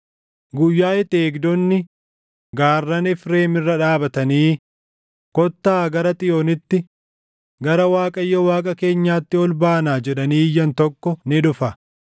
Guyyaa itti eegdonni gaarran Efreem irra dhaabatanii, ‘Kottaa gara Xiyoonitti, gara Waaqayyo Waaqa keenyaatti ol baanaa’ jedhanii iyyan tokko ni dhufa.”